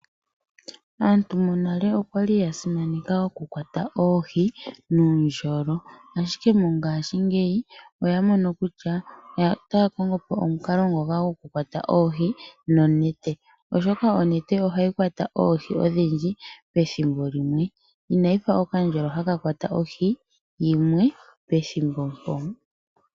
Aantu monale okwali ya simaneka oku kwata oohi nuundjolo, ashike mongaashingeyi oya mono kutya otaya kongo omukalo ngoka goku kwata oohi nonete ,oshoka onete ohayi kwata oohi odhindji pethimbo limwe inayi fa okandjolo haka kwata ohi yimwe pethimbo mpo.